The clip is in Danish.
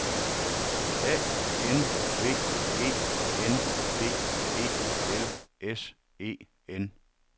A N V E N D E L S E N